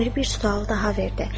Əmir bir sual da verdi.